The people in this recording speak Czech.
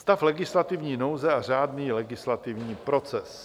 Stav legislativní nouze a řádný legislativní proces.